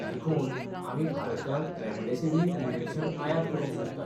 देखून आमी भारतांत रेमडेसिवीर इंजेक्शन आयात करूंक सोदतात.